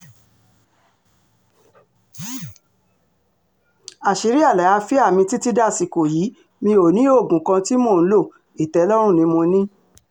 àṣírí àlàáfíà mi títí dàsìkò yìí mi ò ní oògùn kan tí mò ń lo ìtẹ́lọ́rùn ni mo ní